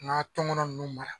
N'ga tɔngɔn nunnu mara